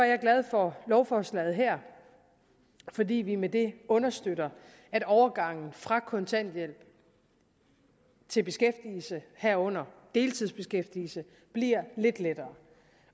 er glad for lovforslaget her fordi vi med det understøtter at overgangen fra kontanthjælp til beskæftigelse herunder deltidsbeskæftigelse bliver lidt lettere